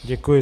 Děkuji.